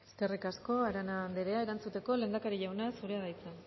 eskerrik asko arana anderea erantzuteko lehendakari jauna zurea da hitza